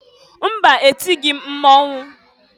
Mba! Etighi m mmọnwụ.